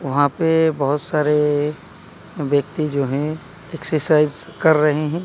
वहां पे बहुत सारे व्यक्ति जो है एक्सरसाइज कर रहे हैं।